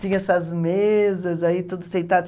Tinha essas mesas, aí tudo sentado.